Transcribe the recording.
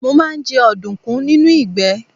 Mo máa ń jẹ ọ̀dùnkún nínú ìgbẹ́.